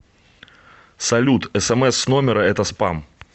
салют смс с номера это спам